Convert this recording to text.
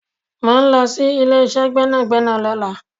Mo ń lọ sí ilé ìṣe gbẹ́nàgbẹ́nà lọ́la